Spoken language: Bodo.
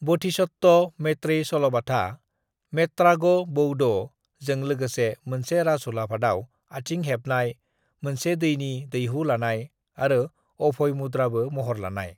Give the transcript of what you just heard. """बोधिसत्व मैत्रेय सल'बाथा """"मेट्रागो बौडो"""" जों लोगोसे, मोनसे राजुलाफादाव आथिं हेबनाय, मोनसे दैनि दैहु लानाय, आरो अभय मुद्राबो महर लानाय।"""